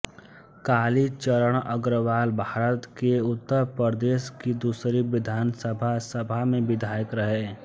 कालीचरण अग्रवालभारत के उत्तर प्रदेश की दूसरी विधानसभा सभा में विधायक रहे